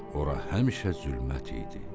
Ora həmişə zülmət idi.